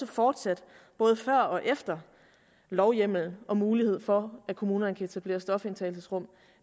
fortsat både før og efter lovhjemmel og mulighed for at kommunerne kan etablere stofindtagelsesrum